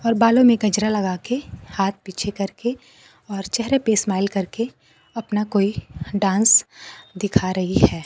और बालों में गजरा लगा के हाथ पीछे करके और चेहरे पे स्माइल करके अपना कोई डांस दिखा रही है।